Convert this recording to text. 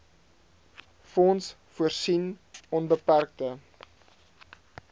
fonds voorsien onbeperkte